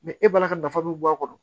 e balima ka nafa bɛ bɔ a kɔnɔ